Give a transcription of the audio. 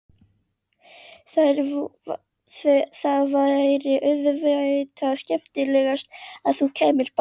Það væri auðvitað skemmtilegast að þú kæmir bara!